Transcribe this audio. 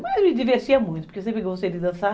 Mas me divertia muito, porque eu sempre gostei de dançar.